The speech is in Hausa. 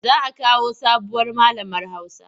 Za a kawo sabuwar malamar Hausa.